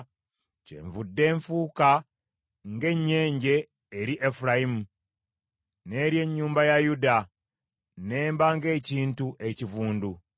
Kyenvudde nfuuka ng’ennyenje eri Efulayimu, n’eri ennyumba ya Yuda n’emba ng’ekintu ekivundu.